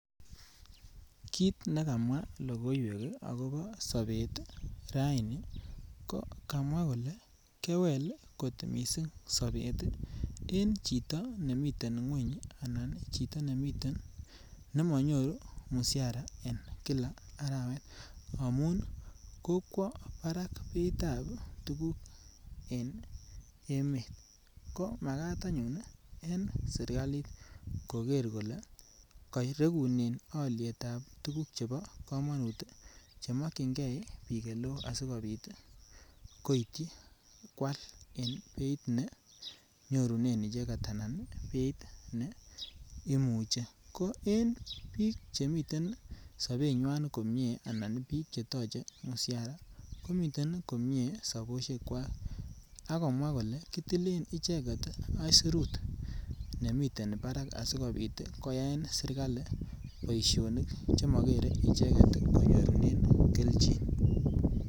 Kit ne kamwa logoiwek agobo sobet raini ko kamwa kole kewel kot mising sobet en choto nemiten ngweny anan chito ne miten, ne manyoru msiara en kila arawet amun kokwo barak beitab tuguk en emet komagat anyun en sirgalit koker kole karegunen alyetab tuguk chebo kamanut chemokyinge biik oleo sigopit kwal en beit ne nyorunen icheget anan beit neimuchi. Ko en biik che miten sabenywan komie anan biik chetoche msiara, komiten komie sabosiekwak agomwa kole kitilen icheget aisirut nemiten barak asigopit koyaen sirgali boisionik chemagere icheget konyorunen keljin.